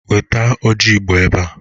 Wete ọjị igbo ebea!